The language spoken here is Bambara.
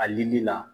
A dili la